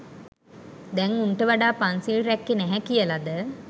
දැන් උන්ට වඩා පන්සිල් රැක්කේ නැහැ කියලද?